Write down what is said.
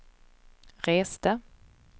reste